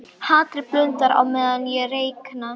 Hatrið blundar á meðan ég reikna.